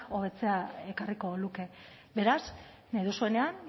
hobetzea ekarriko luke beraz nahi duzuenean